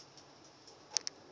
ho chi minh